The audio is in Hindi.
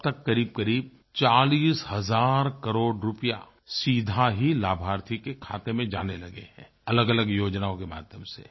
अब तक करीबकरीब 40 हज़ार करोड़ रूपये सीधे ही लाभार्थी के खाते में जाने लगे हैं अलगअलग योजनाओं के माध्यम से